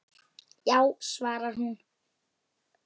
Já, svarar hún.